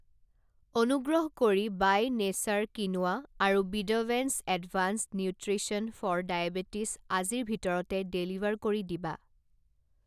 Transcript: অনুগ্ৰহ কৰি by nature quinoa আৰু বিদাভেন্স এডভাঞ্চড নিউট্ৰিশ্যন ফৰ ডায়েবেটিছ আজিৰ ভিতৰতে ডেলিভাৰ কৰি দিবা।